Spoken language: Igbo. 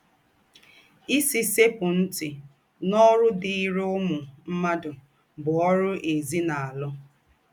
“ Ìsì sẹ́kpù ntị n’ọ́rụ̀ dịrị̀ ǔmū mmádụ bụ̀ ọ́rụ̀ èzínàlụ́.... ”